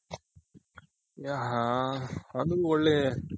ಅದು ಒಳ್ಳೆ